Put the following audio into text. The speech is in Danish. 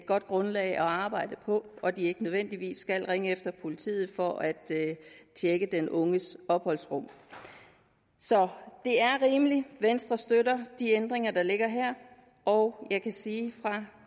godt grundlag at arbejde på og at de ikke nødvendigvis skal ringe efter politiet for at tjekke den unges opholdsrum så det er rimeligt venstre støtter de ændringer der ligger her og jeg kan sige fra